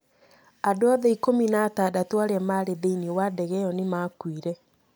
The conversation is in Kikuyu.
Andũ othe ikũmi na atandatũ arĩa maarĩ thĩinĩ wa ndege ĩyo nĩ maakuire.